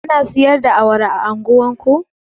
Ana siyar da awara a unguwar ku?